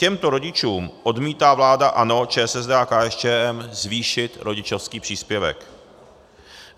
Těmto rodičům odmítá vláda ANO, ČSSD a KSČM zvýšit rodičovský příspěvek.